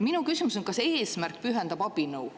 Minu küsimus on, kas eesmärk pühitseb abinõu.